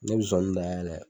Ne be zonzani da yɛlɛ